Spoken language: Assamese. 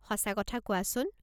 সঁচা কথা কোৱাচোন।